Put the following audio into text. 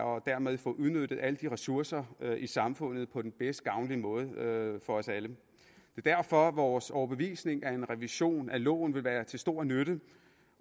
og dermed får udnyttet alle ressourcer i samfundet på den mest gavnlige måde for os alle det er derfor vores overbevisning at en revision af loven vil være til stor nytte